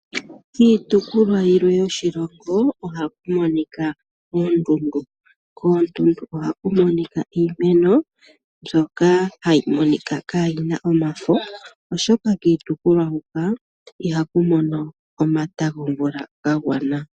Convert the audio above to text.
Kiitukulwa yilwe yoshilongo oha ku monika oonduundu. Koondundu oha ku monika iimeno mbyoka hayi monika kaa yi na omafo, oshoka kiitukulwa hoka ihaku mono omata gomvula ga gwana.